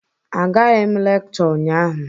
Agaghị m lekchọ ụnyaahụ.